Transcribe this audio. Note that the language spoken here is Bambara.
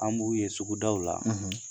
An b'u ye sugudaw la